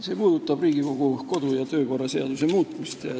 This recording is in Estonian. See puudutab Riigikogu kodu- ja töökorra seaduse muutmist.